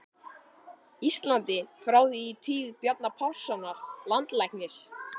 Íslandi, frá því í tíð Bjarna Pálssonar landlæknis.